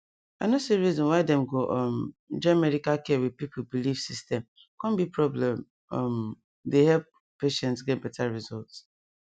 i no see reason why dem go um join medical care with people belief system come be porbleme um dey help patients get better result